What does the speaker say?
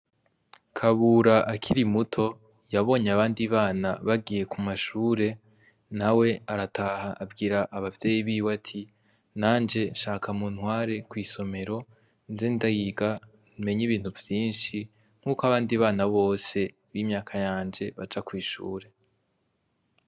Kabura akiri muto yabonye abandi bana bagiye ku mashure na we arataha abwira abavyeyi biwe ati nanje nshaka mu ntware kw'isomero nze ndayiga menye ibintu vyinshi nk'uko abandi bana bose b'imyaka yanje baja kwishure.